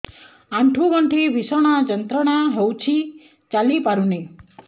ଆଣ୍ଠୁ ଗଣ୍ଠି ଭିଷଣ ଯନ୍ତ୍ରଣା ହଉଛି ଚାଲି ପାରୁନି